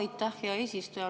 Aitäh, hea eesistuja!